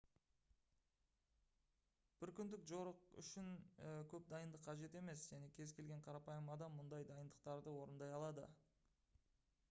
бір күндік жорық үшін көп дайындық қажет емес және кез-келген қарапайым адам мұндай дайындықтарды орындай алады